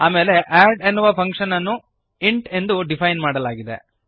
ಆಮೇಲೆ ಅಡ್ ಎನ್ನುವ ಫಂಕ್ಶನ್ ಅನ್ನು ಇಂಟ್ ಎಂದು ಡಿಫೈನ್ ಮಾಡಲಾಗಿದೆ